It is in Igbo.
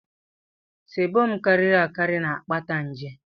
sébọm karịrị akarị na-akpata nje